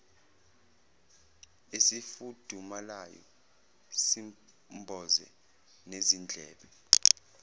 esifudumalayo simboze nezindlebe